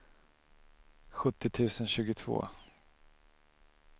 sjuttio tusen tjugotvå